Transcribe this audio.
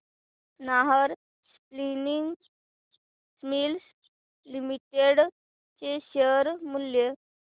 Nahar spinning mills limited चे share मूल्य